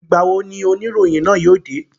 Ìgbà wo ni oníròyìn náà yóò dé?